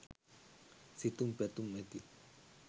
සිතුම් පැතුම් ඇති